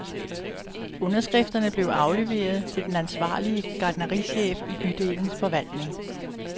Underskrifterne blev afleveret til den ansvarlige gartnerichef i bydelens forvaltning.